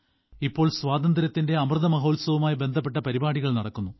ഇപ്പോൾ സ്വാതന്ത്ര്യത്തിന്റെ അമൃത് മഹോത്സവവുമായി ബന്ധപ്പെട്ട പരിപാടികൾ നടക്കുന്നു